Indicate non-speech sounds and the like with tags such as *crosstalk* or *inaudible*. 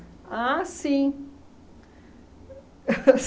Ah, sim *laughs*